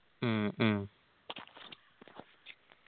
മ്മ് മ്മ്